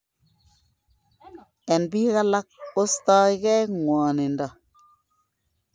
En biik alak kostogei ngwonindo